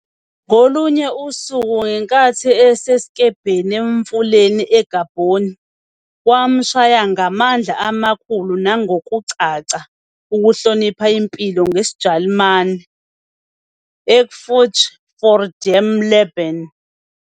Ngolunye usuku, ngenkathi esesikebheni emfuleni eGabon, wamshaya ngamandla amakhulu nangokucaca- "Ukuhlonipha impilo", NgesiJalimane- Ehrfurcht vor dem Leben.